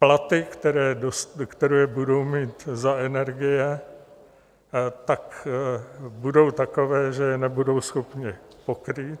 Platby, které budou mít za energie, tak budou takové, že je nebudou schopni pokrýt.